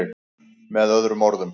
Með öðrum orðum.